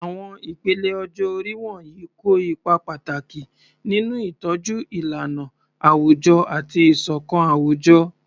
Àwọn ìpele ọjọ́ orí wọ̀nyí kó ipa pàtàkì nínú ìtọ́jú ìlànà àwùjọ àti ìṣọ̀kan àwùjọ.